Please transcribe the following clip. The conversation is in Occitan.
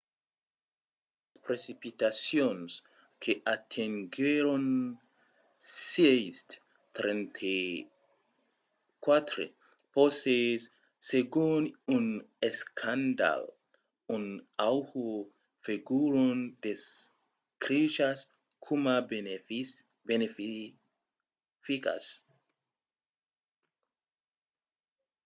las precipitacions que atenguèron 6,34 poces segon un escandalh a oahu foguèron descrichas coma beneficas